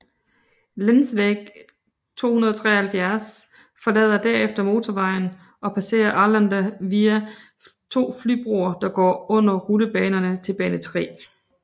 Länsväg 273 forlader derefter motorvejen og passerer Arlanda via to flybroer der går under rullebanerne til bane 3